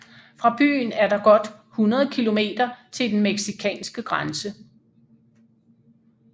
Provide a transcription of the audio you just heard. Fra byen er der godt 100 kilometer til den mexicanske grænse